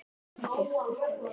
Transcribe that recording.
Ætlarðu að giftast henni?